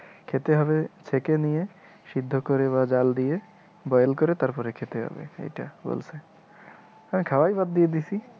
খেতে হবে ছেঁকে নিয়ে, সিদ্ধ করে বা জাল দিয়ে, boil করে তারপরে খেতে হবে এটা আমি খাওয়ায় বাদ দিয়ে দিইয়েছি।